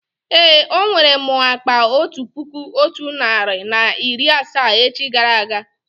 Èé, ọ nwere m akpa otu puku otu narị na iri asaa echi gara aga